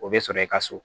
O bɛ sɔrɔ i ka so